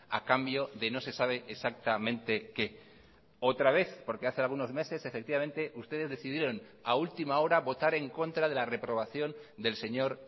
a cambio de no se sabe exactamente qué otra vez porque hace algunos meses efectivamente ustedes decidieron a última hora votar en contra de la reprobación del señor